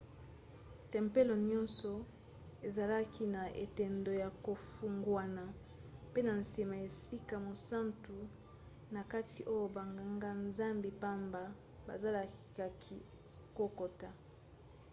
tempelo nyonso ezalaki na etando ya kofungwana pe na nsima esika mosantu na kati oyo banganga-nzambi pamba bazalaki kokota